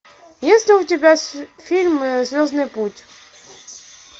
есть ли у тебя фильм звездный путь